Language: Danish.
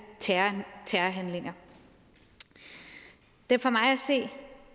terrorhandlinger det er for mig at se